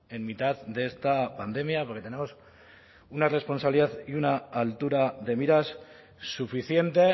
en mitad de esta pandemia porque tenemos una responsabilidad y una altura de miras suficiente